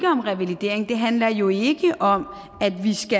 om revalidering det handler jo ikke om